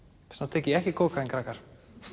tek ég ekki kókaín krakkar